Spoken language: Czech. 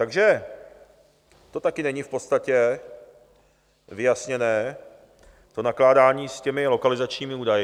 Takže to taky není v podstatě vyjasněné, to nakládání s těmi lokalizačními údaji.